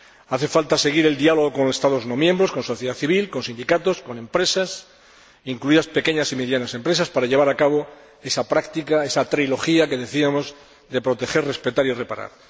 Hace falta seguir el diálogo con Estados no miembros, con la sociedad civil, con los sindicatos, con las empresas, incluidas las pequeñas y medianas empresas, para llevar a cabo esa práctica, esa trilogía que decíamos, de proteger, respetar y reparar.